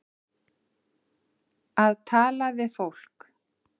Að tala við fólk